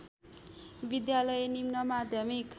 विद्यालय निम्न माध्यमिक